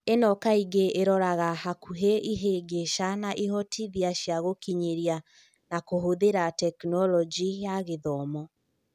ĩno kaingĩ ĩraroraga hakuhĩ ihĩngĩca na ihotithia cia gũkinyĩra na kũhũthĩra Tekinoronjĩ ya Gĩthomo.